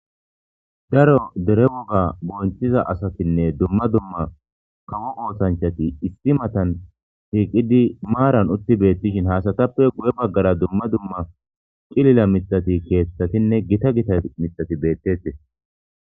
Daro dere woga bonchiza asatinne dumma dumma kawo oothanchati issi matan hiiqidi maaran utti beettishin haasatappe guye baggara dumma dumma qilila mixati keethtatinne gita gita mixati beettetes